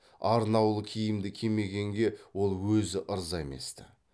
арнаулы киімді кимегенге ол өзі ырза емес ті